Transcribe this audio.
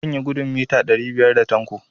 Zan yi gudun mita ɗari biyar da Tanko.